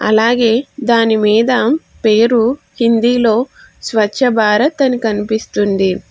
అలాగే దాని మీద పేరు హిందీ లో స్వచ్ఛ భారత్ అని కనిపిస్తుంది.